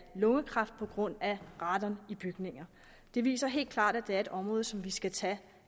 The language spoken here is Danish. lungekræft på grund af radon i bygninger det viser helt klart at det er et område som vi skal tage